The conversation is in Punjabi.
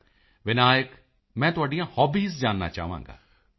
ਮੋਦੀ ਜੀ ਵਿਨਾਇਕ ਮੈਂ ਤੁਹਾਡੀਆਂ ਹੌਬੀਜ਼ ਜਾਨਣਾ ਚਾਹਾਂਗਾ